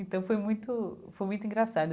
Então, foi muito foi muito engraçado.